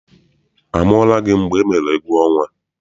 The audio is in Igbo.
A mụọla gị mgbe emere egwuọnwa?